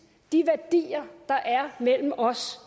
de værdier der er mellem os